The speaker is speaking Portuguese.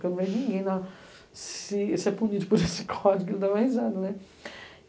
Porque eu não vejo ninguém ser punido por esse código, não dá mais nada, né?